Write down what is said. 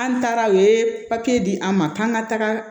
An taara u ye papiye di an ma k'an ka taga